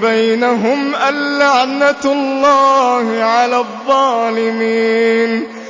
بَيْنَهُمْ أَن لَّعْنَةُ اللَّهِ عَلَى الظَّالِمِينَ